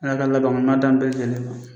Ala ka laban ko ɲuman d'an bɛɛ lajɛlen ma